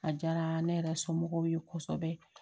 A diyara ne yɛrɛ somɔgɔw ye kosɛbɛ